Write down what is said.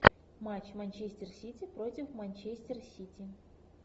матч манчестер сити против манчестер сити